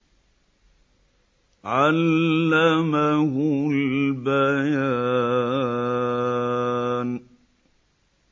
عَلَّمَهُ الْبَيَانَ